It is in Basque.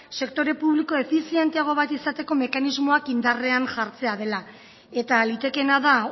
sektore publiko efizienteago bat izateko mekanismoak indarrean jartzea dela eta litekeena da